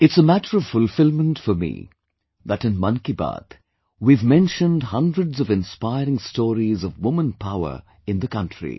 It's a matter of fulfilment for me that in 'Mann Ki Baat' we have mentioned hundreds of inspiring stories of woman power of the country